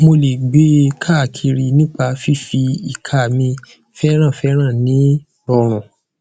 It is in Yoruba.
mo lè gbe e káakiri nípa fífi ìka mi fẹrànfèràn ní rọrùn